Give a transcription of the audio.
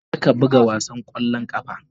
Kar ka buga wasan ƙwallon ƙafa.